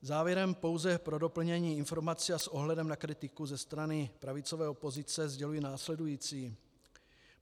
Závěrem pouze pro doplnění informací a s ohledem na kritiku ze strany pravicové opozice sděluji následující.